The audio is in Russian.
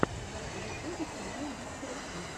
на ютубе канал мистер гир